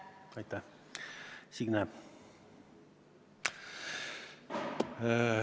Aitäh, Signe!